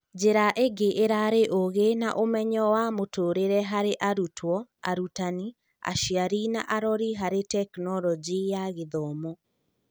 Njĩra ingĩ irarĩ ũgĩ na ũmenyo wa mũtũrĩre harĩ arutwo, arutani, aciari na arori harĩ Tekinoronjĩ ya Gĩthomo